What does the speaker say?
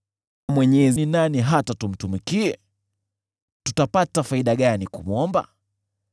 Mwenyezi ni nani hata tumtumikie? Tutapata faida gani kumwomba?